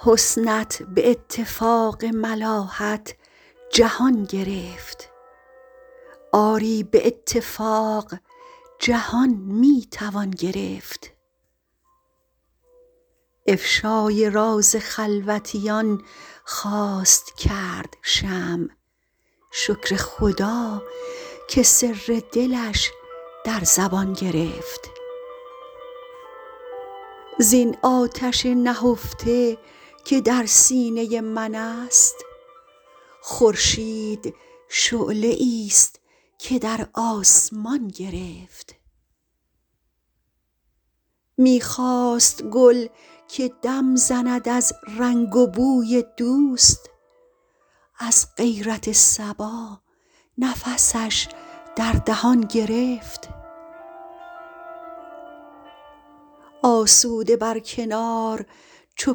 حسنت به اتفاق ملاحت جهان گرفت آری به اتفاق جهان می توان گرفت افشای راز خلوتیان خواست کرد شمع شکر خدا که سر دلش در زبان گرفت زین آتش نهفته که در سینه من است خورشید شعله ای ست که در آسمان گرفت می خواست گل که دم زند از رنگ و بوی دوست از غیرت صبا نفسش در دهان گرفت آسوده بر کنار چو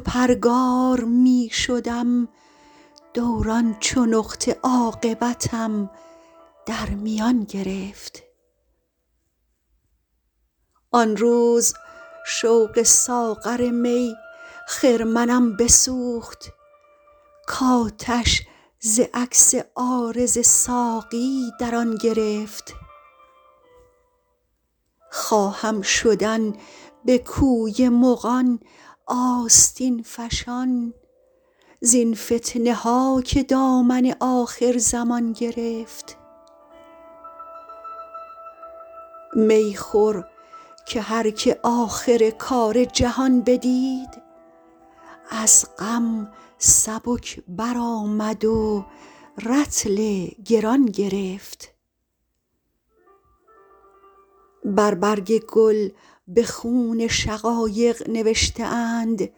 پرگار می شدم دوران چو نقطه عاقبتم در میان گرفت آن روز شوق ساغر می خرمنم بسوخت کآتش ز عکس عارض ساقی در آن گرفت خواهم شدن به کوی مغان آستین فشان زین فتنه ها که دامن آخرزمان گرفت می خور که هر که آخر کار جهان بدید از غم سبک برآمد و رطل گران گرفت بر برگ گل به خون شقایق نوشته اند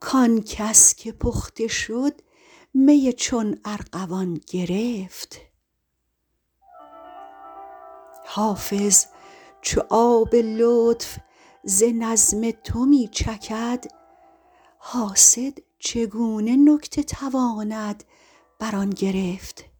کآن کس که پخته شد می چون ارغوان گرفت حافظ چو آب لطف ز نظم تو می چکد حاسد چگونه نکته تواند بر آن گرفت